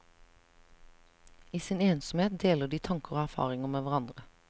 I sin ensomhet deler de tanker og erfaringer med hverandre.